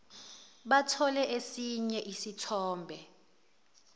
bathole esinye isithombe